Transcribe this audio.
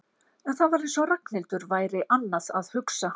En það var eins og Ragnhildur væri annað að hugsa.